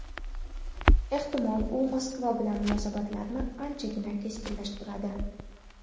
Ehtimol, u Moskva bilan munosabatlarni anchagina keskinlashtiradi.